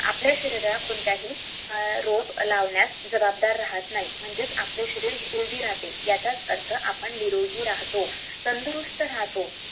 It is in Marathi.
आपल्या शरीरात कोणताही रोग लावण्यात जवाबदार राहणार नाही